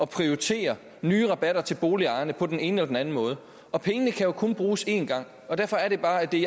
prioritere nye rabatter til boligejerne på den ene eller den anden måde og pengene kan jo kun bruges en gang og derfor er det bare at det